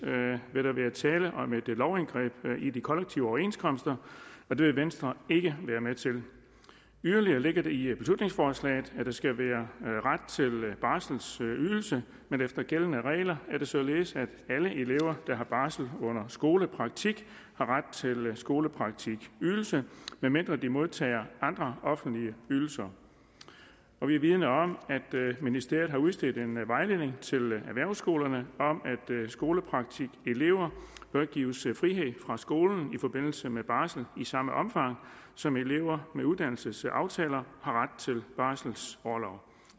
vil der være tale om et lovindgreb i de kollektive overenskomster det vil venstre ikke være med til yderligere ligger det i beslutningsforslaget at der skal være ret til barselsydelse men efter gældende regler er det således at alle elever der har barsel under skolepraktik har ret til skolepraktikydelse medmindre de modtager andre offentlige ydelser og vi er vidende om at ministeriet har udstedt en vejledning til erhvervsskolerne om at skolepraktikelever bør gives frihed fra skolen i forbindelse med barsel i samme omfang som elever med uddannelsesaftaler har ret til barselsorlov